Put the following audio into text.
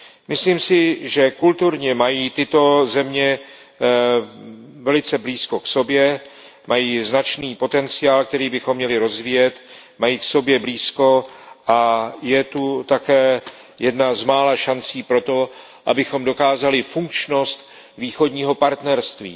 Myslím si, že kulturně mají tyto země velice blízko k sobě, mají značný potenciál, který bychom měli rozvíjet, a je zde také jedna z mála šancí pro to, abychom dokázali funkčnost Východního partnerství.